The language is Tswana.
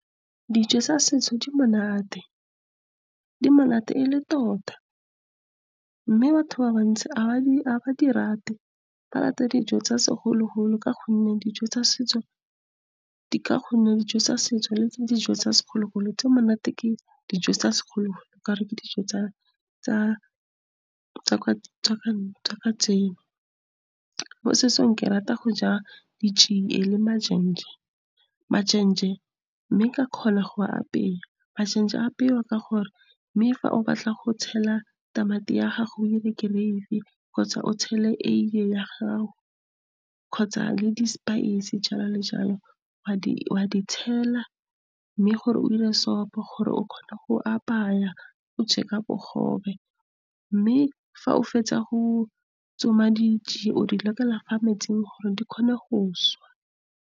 Dijo tsa setso di monate, di monate e le tota. Mme batho ba bantsi ha ba di rate, ba rata dijo tsa segologolo, ka gonne dijo tsa setso, le dijo tsa segologolo tse monate ke dijo tsa segologolo ka gore ke dijo tsa ka kajeno. Mo setsong ke rata go ja ditšie le , mme ke a kgona go a apea. apewa ka gore mme fa o batla go tshela tamati ya gago o dire gravy, kgotsa o tshele eiye ya gago kgotsa le di-spice jalo le jalo, wa di tshela mme gore o sopo gore o kgone go apaya o je ka bogobe. Mme fa o fetsa go tsoma ditšie o di lokela metsing gore di kgone go .